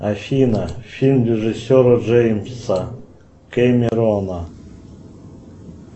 афина фильм режиссера джеймса кемерона